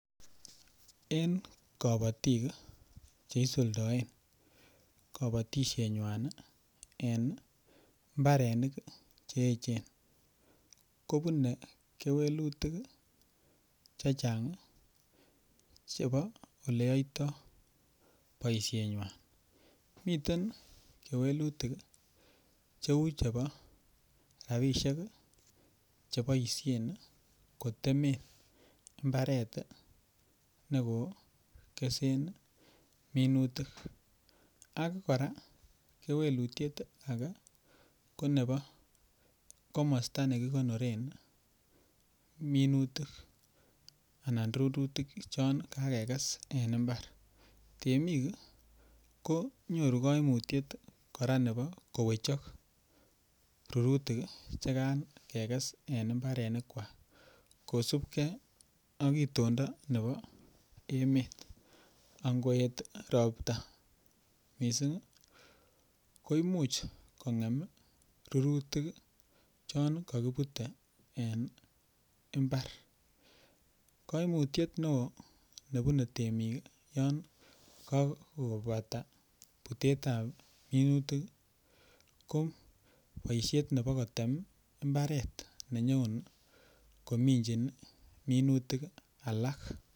En kabatik ii che isuldoen kabatisienywan en imbarenik che echen, kobune kewelutik ii che chang ii chebo oleyoitoi boisienwan, miten kewelutik ii cheu chebo rabiisiek ii cheboisien ii kotemen mbaret ii nekokesen minutik, ak kora kewelutiet ake ko komosta nekikonoren ii minutik anan rurutik chon kakekes en imbar, temik ii ko nyoru kaimutiet nebo kowechok rurutik ii chekan kekes en imbarenikwak kosupkei ak itondo nebo emet, ak ngoet ropta mising ii, koimuch kongem ii rurutik ii chon kakibutei en imbar, kaimutiet ne oo nebune temik yon kakobata butetab minutik ii, ko boisiet nebo kotem imbaret nenyon kominchin minutik alak.